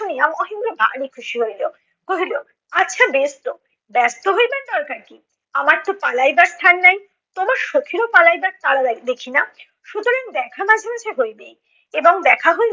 শুনিয়া মহেন্দ্র ভারি খুশি হইল। কহিল, আচ্ছা বেশতো, ব্যস্ত হইবার দরকার কী? আমার তো পালাইবার স্থান নাই। তোমার সখিরও পালাইবার তাড়া দেখি না। সুতরাং দেখা মাঝে মাঝে হইবেই এবং দেখা হইলে